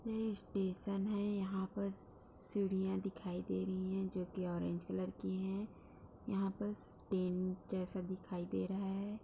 यह स्टेशन है। यहाँ पर सीढ़ियाँ दिखाई दे रही हैं जो कि ऑरेंज कलर की हैं। यहाँ पर ट्रैन जैसा दिखाई दे रहा है।